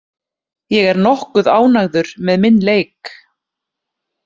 Ég er nokkuð ánægður með minn leik.